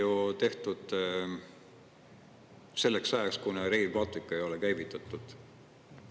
Eks see liin tehti ju selleks ajaks, kuni Rail Baltic ei ole veel käivitatud.